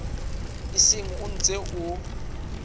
o seng o ntse o